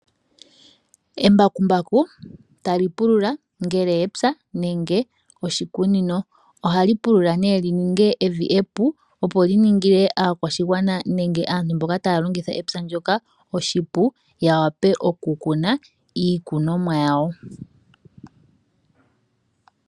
Embakumbaku tali pulula ngele epya nenge oshikunino. Ohali pulula lininge evi epu opo liningile aakwashigwana nenge aantu mboka taya longitha epya ndyoka oshipu, yawape okukuna iikunomwa yawo.